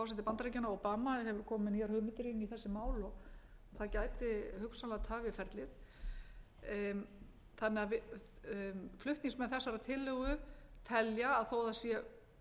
bandaríkjanna obama hefur komið með nýjar hugmyndir inn í þessi mál og það gæti hugsanlega tafið ferlið flutningsmenn þessarar tillögu telja að þó að það sé